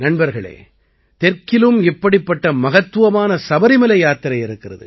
நண்பர்களே தெற்கிலும் இப்படிப்பட்ட மகத்துவமான சபரிமலை யாத்திரை இருக்கிறது